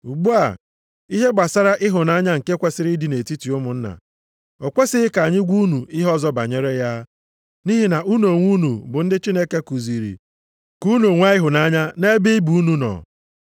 Ugbu a, ihe gbasara ịhụnanya nke kwesiri ịdị nʼetiti ụmụnna, o kwesighị ka anyị gwa unu ihe ọzọ banyere ya. Nʼihi na unu onwe unu bụ ndị Chineke kuziri ka unu nwee ịhụnanya nʼebe ibe unu nọ.